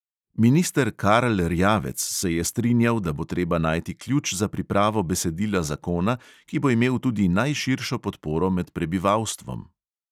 Minister karl erjavec se je strinjal, da bo treba najti ključ za pripravo besedila zakona, ki bo imel tudi najširšo podporo med prebivalstvom.